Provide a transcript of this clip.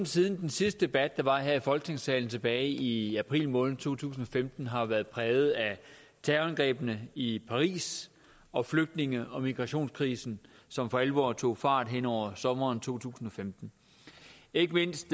siden den sidste debat der var her i folketingssalen tilbage i april måned to tusind og femten har jo været præget af terrorangrebene i paris og flygtninge og migrationskrisen som for alvor tog fart hen over sommeren to tusind og femten ikke mindst